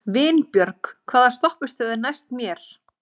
Vinbjörg, hvaða stoppistöð er næst mér?